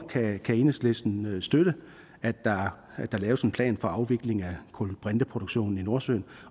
kan enhedslisten støtte at der laves en plan for afvikling af kulbrinteproduktionen i nordsøen